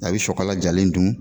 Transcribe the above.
A bɛ sɔkala jalen dun